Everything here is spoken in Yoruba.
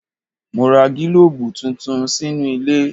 Mo ra gílòbù tuntun sínú ilé.